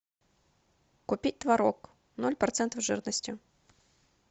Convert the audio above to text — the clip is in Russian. купить творог ноль процентов жирности